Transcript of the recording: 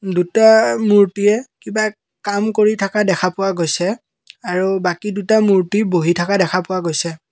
দুটা মূৰ্ত্তিয়ে কিবা কাম কৰি থকা দেখা পোৱা গৈছে আৰু বাকী দুটা মূৰ্ত্তি বহি থকা দেখা পোৱা গৈছে।